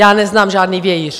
Já neznám žádný vějíř!